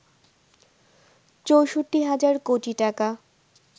৬৪ হাজার কোটি টাকা